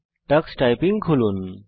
tax typing খুলুন